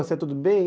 Você tudo bem?